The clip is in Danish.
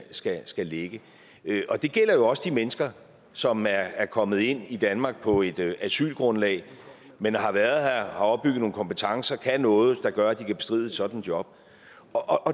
skal skal ligge og det gælder jo også de mennesker som er kommet ind i danmark på et asylgrundlag men har været her og opbygget nogle kompetencer og kan noget der gør at de kan bestride et sådant job